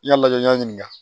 I y'a lajɛ n'i y'a ɲininka